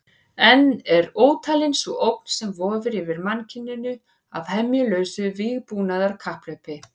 Enn er ótalin sú ógn sem vofir yfir mannkyninu af hemjulausu vígbúnaðarkapphlaupi.